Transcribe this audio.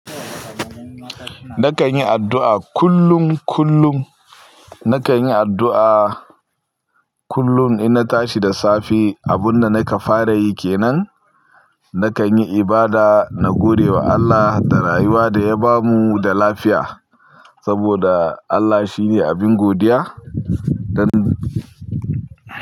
Nakan yi addu'a kullum, kullum. Nakan yi addu'a kullum ina tashi da safe. Abun da nakan fara yi kenan, nakan yi ibada na gode wa Allah da rayuwa da ya bamu da lafiya saboda Allah shine abin godiya. Don.